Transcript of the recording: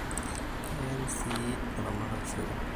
keen siii ilmaratak irsikon